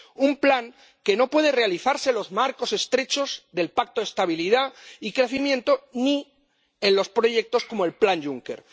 Un plan que no puede realizarse en los marcos estrechos del Pacto de Estabilidad y Crecimiento ni en los proyectos, como el plan Juncker.